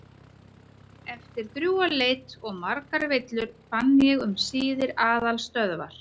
Eftir drjúga leit og margar villur fann ég um síðir aðalstöðvar